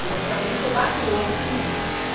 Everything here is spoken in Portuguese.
Em orçamento eu bato o olho, prum.